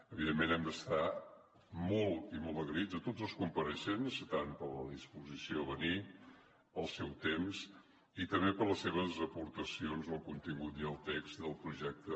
evidentment hem d’estar molt i molt agraïts a tots els compareixents tant per la disposició a venir pel seu temps i també per les seves aportacions al contingut i al text del projecte